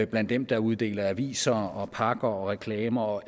blandt dem der uddeler aviser og pakker og reklamer og